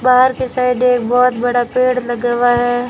बाहर के साइड एक बहुत बड़ा पेड़ लगा हुआ है।